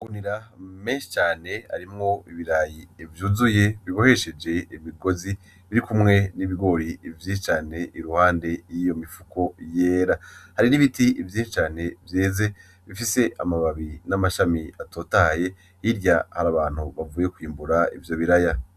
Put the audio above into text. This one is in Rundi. Amagunira menshi cane arimwo ibirayi vyuzuye bibohesheje imigozi birikumwe n'ibigori vyinshi cane iruhande yiyo mifuko yera, hari n'ibiti vyinshi cane vyeze bifise amababi n'amashami atotahaye hirya hari abantu bavuye kwimbura ivyo biraya.